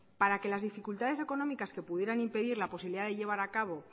para que la dificultades económicas que pudieran impedir la posibilidad de llevar a cabo